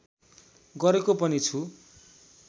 गरेको पनि छु